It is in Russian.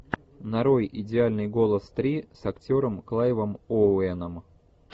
нарой идеальный голос три с актером клайвом оуэном